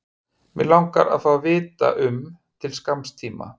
Mig langar líka að fá að vita um til skamms tíma.